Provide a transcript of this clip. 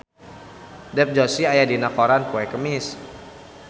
Dev Joshi aya dina koran poe Kemis